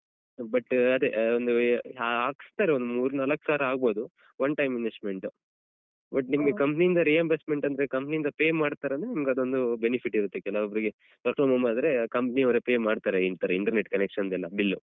But ಅದೇ ಒಂದು ಆ ಹಾಕ್ಸ್ತಾರೆ ಒಂದು ಮೂರ್ ನಾಲಕ್ಸಾವ್ರ ಆಗ್ಬೋದು ಒನ್ time investment but ನಿಮ್ಗೆ company ಇಂದ reimbursement ಅಂದ್ರೆ company ಇಂದ pay ಮಾಡ್ತಾರಂದ್ರೆ ನಿಮ್ಗದೊಂದು benefit ಇರುತ್ತೆ ಕೆಲವೊಬ್ರಿಗೆ work from home ಆದ್ರೆ company ಯವ್ರೇ pay ಮಾಡ್ತಾರೆ ಈತರ internet connection ‍ ದೆಲ್ಲ bill ಲ್ಲು.